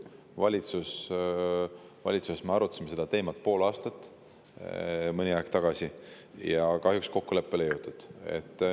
Valitsuses me arutasime seda teemat pool aastat, see oli mõni aeg tagasi, aga kahjuks kokkuleppele ei jõudnud.